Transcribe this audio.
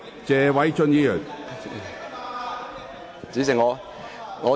謝偉俊議員，請繼續發言。